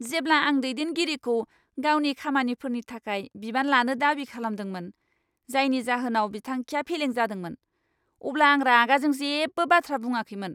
जेब्ला आं दैदेनगिरिखौ गावनि खामानिफोरनि थाखाय बिबान लानो दाबि खालामदोंमोन, जायनि जाहोनाव बिथांखिया फेलें जादोंमोन, अब्ला आं रागाजों जेबो बाथ्रा बुङाखैमोन।